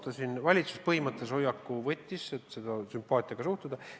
Valitsus võttis põhimõttelise hoiaku sellesse sümpaatiaga suhtuda.